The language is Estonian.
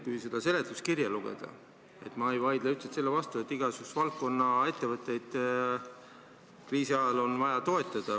Kui ma seda seletuskirja loen, siis ma ei vaidle sellele vastu, et igasuguste valdkondade ettevõtteid on kriisi ajal vaja toetada.